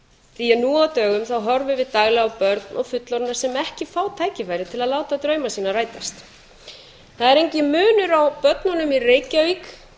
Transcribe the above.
því nú á dögum horfum við daglega á börn og fullorðna sem ekki fá tækifæri til að láta drauma sína rætast það er enginn munur á börnunum